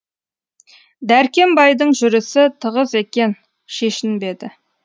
дәркембайдың жүрісі тығыз екен шешінбеді